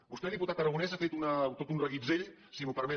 vostè diputat aragonès ha fet tot un reguitzell si m’ho permet